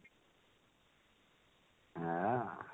ହଁ?